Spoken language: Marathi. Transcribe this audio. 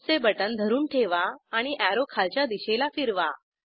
माऊसचे बटण धरून ठेवा आणि अॅरो खालच्या दिशेला फिरवा